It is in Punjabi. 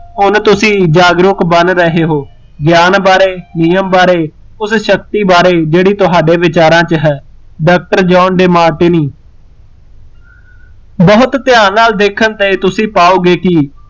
ਹੁਣ ਤੁਸੀਂ ਜਾਗਰੂਕ ਬਣ ਰਹੇ ਹੋ, ਗਿਆਨ ਬਾਰੇ, ਨਿਯਮ ਬਾਰੇ, ਉਸ ਸ਼ਕਤੀ ਬਾਰੇ ਜਿਹੜੀ ਤੁਹਾਡੇ ਵਿਚਾਰਾ ਚ ਹੈ ਡਾਕਟਰ ਜੋਹਨ ਡੀਮਾਰਟੀਨੀ ਬਹੁਤ ਧਿਆਨ ਨਾਲ਼ ਦੇਖਣ ਤੇ ਤੁਸੀਂ ਪਾਓਗੇ ਕੀ